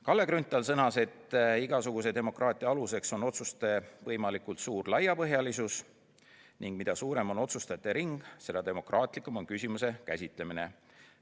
Kalle Grünthal sõnas, et igasuguse demokraatia aluseks on otsuste võimalikult suur laiapõhjalisus ning mida suurem on otsustajate ring, seda demokraatlikum on küsimuse käsitlemine.